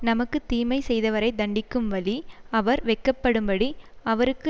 நமக்கு தீமை செய்தவரை தண்டிக்கும் வழி அவர் வெட்கப்படும்படி அவருக்கு